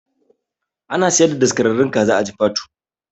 Ana siyar da daskararren kaza a jifatu